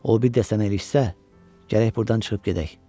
O bir də sənə ilişsə, gərək buradan çıxıb gedək.